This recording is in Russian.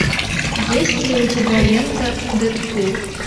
есть ли у тебя лента дэдпул